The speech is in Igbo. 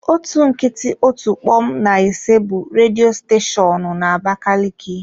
Otu nkịtị otu kpom na ise bụ redio steshoonu na abakaliki.